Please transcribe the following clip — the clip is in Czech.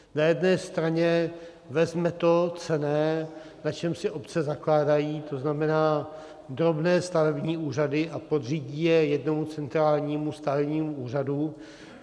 Na jedné straně vezme to cenné, na čem si obce zakládají, to znamená drobné stavební úřady, a podřídí je jednomu centrálnímu stavebnímu úřadu.